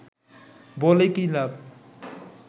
বলে কি লাভ?